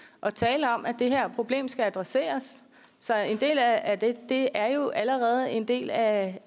og tale om at det her problem skal adresseres så en del af det er jo allerede en del af